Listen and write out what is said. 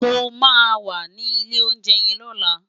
Mó má wà ni ilé óunjè yèn lòlá